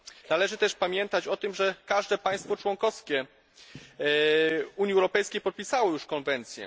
Należy też pamiętać o tym, że każde państwo członkowskie Unii Europejskiej podpisało już konwencję.